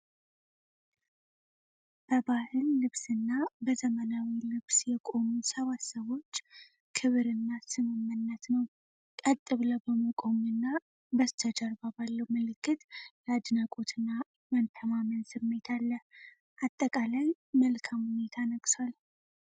በባህል ልብስና በዘመናዊ ልብስ የቆሙ ሰባት ሰዎች ክብር እና ስምምነት ነው ። ቀጥ ብለው በመቆም እና በስተጀርባ ባለው ምልክት የ አድናቆት እና መተማመን ስሜት አለ ። አጠቃላይ መልካም ሁኔታ ነግሷል !።